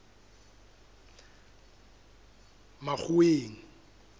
makgoweng